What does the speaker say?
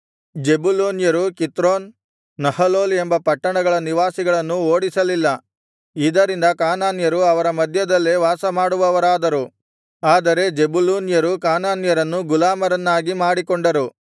ಜೆಬುಲೂನ್ಯರು ಕಿತ್ರೋನ್ ನಹಲೋಲ್ ಎಂಬ ಪಟ್ಟಣಗಳ ನಿವಾಸಿಗಳನ್ನು ಓಡಿಸಲಿಲ್ಲ ಇದರಿಂದ ಕಾನಾನ್ಯರು ಅವರ ಮಧ್ಯದಲ್ಲೇ ವಾಸಮಾಡುವವರಾದರು ಆದರೆ ಜೆಬುಲೂನ್ಯರು ಕಾನಾನ್ಯರನ್ನು ಗುಲಾಮರನ್ನಾಗಿ ಮಾಡಿಕೊಂಡರು